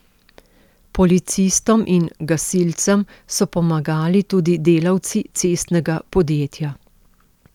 Policistom in gasilcem so pomagali tudi delavci cestnega podjetja.